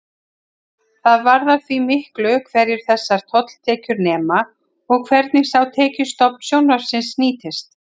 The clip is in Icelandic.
Það varðar því miklu hverju þessar tolltekjur nema og hvernig sá tekjustofn sjónvarpsins nýtist.